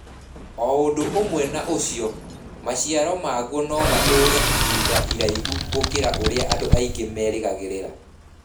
O ũndũ ũmwe na ũcio, maciaro maguo no matũũre ihinda iraihu gũkĩra ũrĩa andũ aingĩ merĩgagĩrĩra.